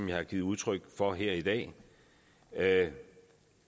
jeg har givet udtryk for her i dag at